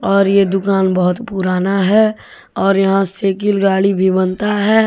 और ये दुकान बहुत पुराना है और यहां साइकिल गाड़ी भी बनता है।